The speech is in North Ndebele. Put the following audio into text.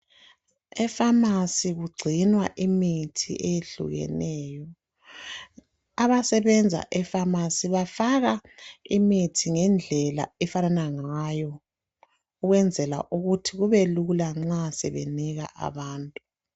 E pharmacy kugcinwa imithi eyehlukeneyo. Abasebenza e pharmacy bafaka imithi ngendlela efanana ngayo ukwenzela ukuthi kube lula nxa sebenika abantu